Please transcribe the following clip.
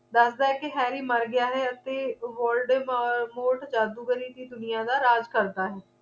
ਦੱਸਦਾ ਹੈ ਇਹ ਕੀ harry ਮਰ ਗਿਆ ਹੈ ਅਤੇ woldmoses ਜਾਦੂ ਗਰੀ ਦੀ ਦੁਨੀਆਂ ਦਾ ਰਾਜ਼ ਕਰਦਾ ਹੈ